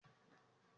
Akin gbà pé òun jẹ̀bi.